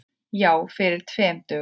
Já, fyrir tveim dögum.